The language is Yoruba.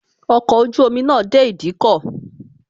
Ọkọ̀ ojú omi náà dé ìdíkọ̀